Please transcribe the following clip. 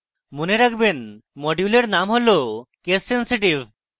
মনে রাখবেন module names হল case sensitive